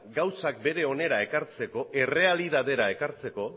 gauzak bere onera ekartzeko errealitatera ekartzeko